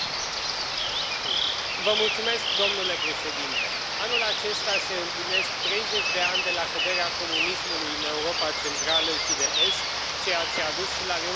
Domnule președinte, anul acesta se împlinesc 30 de ani de la căderea comunismului în Europa centrală și de est, ceea ce a dus și la reunificarea continentului european.